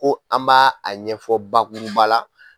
Ko an b'a a ɲɛfɔ bakuruba la